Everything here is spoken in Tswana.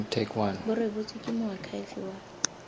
bo rebotswe ke moakhaefe wa